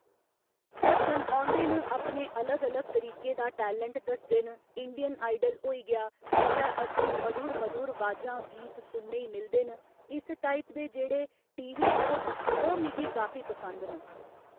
दस्सन औंदे न अपने अलग अलग तरीके दा टैलेंट दस्सदे न इंडियन आइडल होई गेआ जित्थै असें ई मधुर मधुर अवाजां गीत सुनने ई मिलदे न इस टाइप दे जेह्ड़े टी वी शोऽ न ओह् मिगी काफी पसंद न